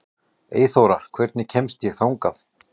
Eyþóra, hvernig kemst ég þangað?